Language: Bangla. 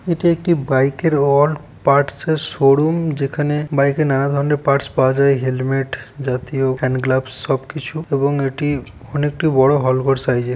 এটি একটি বাইক -এর অল পার্টস -এর শোরুম । যেখানে বাইক -এ নানা ধরনের পার্টস পাওয়া যায় হেলমেট জাতীয় হ্যান্ড গ্লাভস সবকিছু এবং এটি অনেক একটি বড়ো হল ঘর সাজই এর --